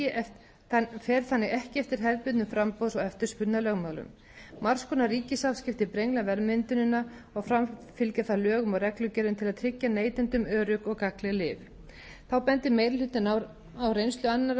ekki eftir hefðbundnum framboðs og eftirspurnarlögmálum margs konar ríkisafskipti brengla verðmyndunina og framfylgja þarf lögum og reglugerðum til að tryggja neytendum örugg og gagnleg lyf þá bendir meiri hlutinn á reynslu annarra